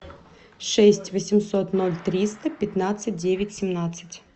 шесть восемьсот ноль триста пятнадцать девять семнадцать